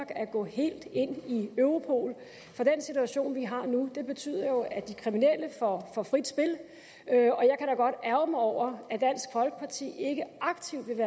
at gå helt ind i europol for den situation vi har nu betyder jo at de kriminelle får frit spil og mig over at dansk folkeparti ikke aktivt vil